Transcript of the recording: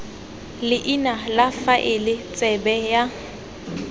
leina la faele tsebe ya